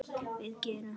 við gerð hans.